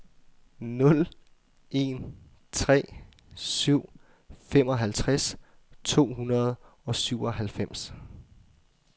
nul en tre syv femoghalvtreds to hundrede og syvoghalvfems